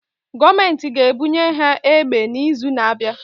Gọọmentị ga-ebunye ha egbe n'izu na-abịa.